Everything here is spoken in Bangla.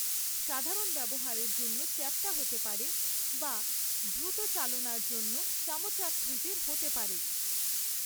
সাধারণ ব্যবহারের জন্য চ্যাপ্টা হতে পারে বা দ্রুত চালনার জন্য চামচাকৃতির হতে পারে।